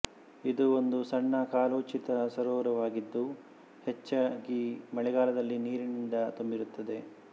ಇದು ಒಂದು ಸಣ್ಣ ಕಾಲೋಚಿತ ಸರೋವರವಾಗಿದ್ದು ಹೆಚ್ಚಾಗಿ ಮಳೆಗಾಲದಲ್ಲಿ ನೀರಿನಿಂದ ತುಂಬಿರುತ್ತದೆ